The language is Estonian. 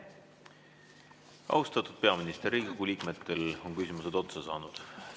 Austatud peaminister, Riigikogu liikmetel on küsimused otsa saanud.